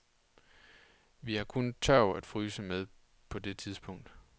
Vi havde kun tørv at fyre med på det tidspunkt.